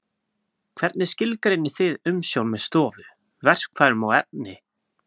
Hvernig skilgreinið þið umsjón með stofu, verkfærum og efni?